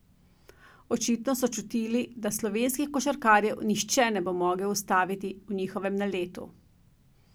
Očitno so čutili, da slovenskih košarkarjev nihče ne bo zmogel ustaviti v njihovem naletu.